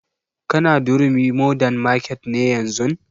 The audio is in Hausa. Ka na durumi modern market ne yanzun?